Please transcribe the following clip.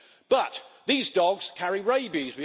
But these dogs carry rabies